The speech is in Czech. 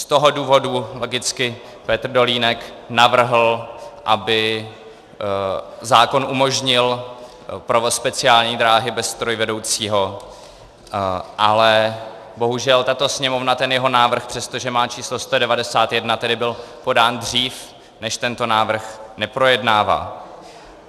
Z toho důvodu logicky Petr Dolínek navrhl, aby zákon umožnil provoz speciální dráhy bez strojvedoucího, ale bohužel tato Sněmovna ten jeho návrh, přestože má číslo 191, tedy byl podán dřív než tento návrh, neprojednává.